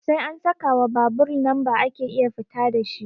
Sai an sakawa babur lamba ake iya fita dashi